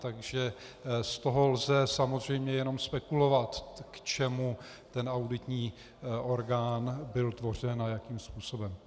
Takže z toho lze samozřejmě jenom spekulovat, k čemu ten auditní orgán byl tvořen a jakým způsobem.